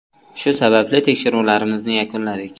Shu sababli tekshiruvlarimizni yakunladik.